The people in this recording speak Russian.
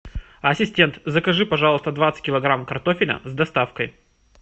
ассистент закажи пожалуйста двадцать килограмм картофеля с доставкой